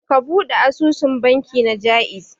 Ka ɓude asusun banki na Ja'iz.